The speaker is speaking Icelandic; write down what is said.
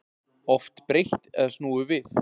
Oft breytt eða snúið við